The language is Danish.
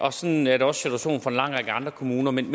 og sådan er det også situationen for en lang række andre kommuner men